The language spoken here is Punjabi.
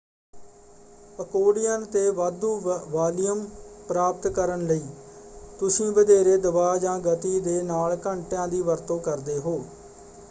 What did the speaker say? ਅਕੋਡਿਅਨ ‘ਤੇ ਵਾਧੂ ਵਾਲੀਅਮ ਪ੍ਰਾਪਤ ਕਰਨ ਲਈ ਤੁਸੀਂ ਵਧੇਰੇ ਦਬਾਅ ਜਾਂ ਗਤੀ ਦੇ ਨਾਲ ਘੰਟੀਆਂ ਦੀ ਵਰਤੋਂ ਕਰਦੇ ਹੋ।